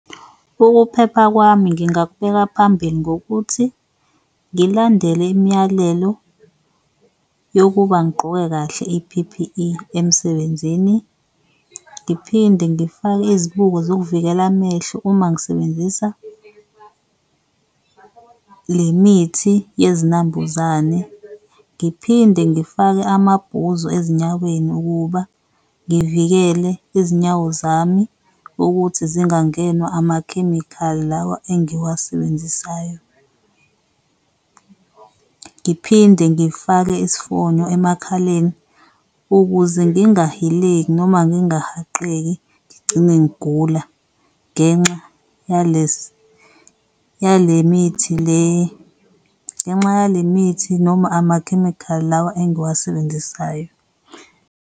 Ukuphepha kwami ngingakubeka phambili ngokuthi ngilandele imiyalelo yokuba ngigqoke kahle i-P_P_E emsebenzini ngiphinde ngifake izibuko zokuvikela amehlo uma ngisebenzisa le mithi yezinambuzane. Ngiphinde ngifake amabhuzu ezinyaweni ukuba ngivikele izinyawo zami ukuthi zingangenwa amakhemikhali lawa engiwasebenzisayo, ngiphinde ngifake isifonyo emakhaleni ukuze ngingahileki noma ngingahaqeki ngigcine ngigula ngenxa yalesi, yale mithi le, ngenxa ya le mithi noma amakhemikhali lawa engiwasebenzisayo.